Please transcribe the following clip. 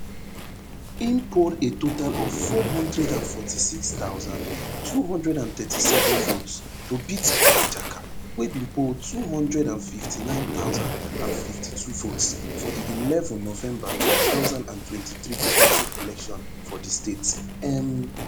im poll a total of four hundred and forty-six thousand, two hundred and thirty-seven votes to beat ajaka wey bin poll two hundred and fifty-nine thousand and fifty-two votes for di eleven november two thousand and twenty-three govnorship election for di state um